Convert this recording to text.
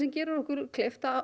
gerir okkur kleift að